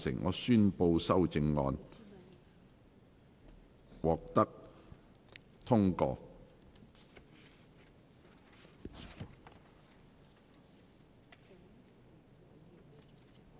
我宣布修正案獲得通過。